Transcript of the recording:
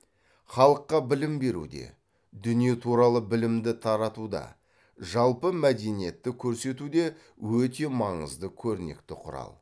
халыққа білім беруде дүние туралы білімді таратуда жалпы мәдениетті көрсетуде өте маңызды көрнекті құрал